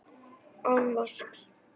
Án vasks.